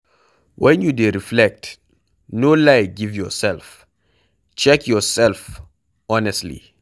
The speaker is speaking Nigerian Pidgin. When you dey reflect, no lie give yourself, check your self honestly